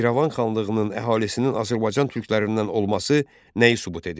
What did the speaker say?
İrəvan xanlığının əhalisinin Azərbaycan türklərindən olması nəyi sübut edir?